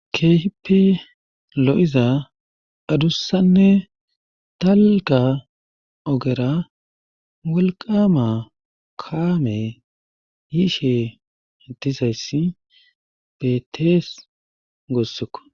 Keehippe lo'iza addussanne dalgga ogera wolqama kaamey yishe dizayssi beetees guussikko.